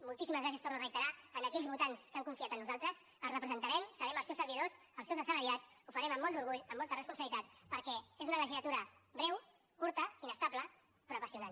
moltíssims gràcies ho torno a reiterar a aquells votants que han confiat en nosaltres els representarem serem els seus servidors els seus assalariats ho farem amb molt d’orgull amb molta responsabilitat perquè és una legislatura breu curta inestable però apassionant